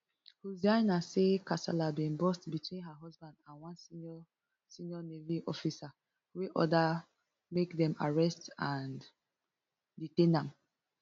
hussaina say kasala bin burst between her husband and one senior senior navy officer wey order make dem arrest and detain am